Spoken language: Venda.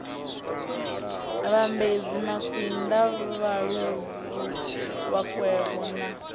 vhambedzi makwinda vhaluvhu vhakwevho na